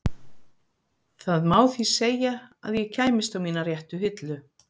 Það má því segja að ég kæmist á mína réttu hillu.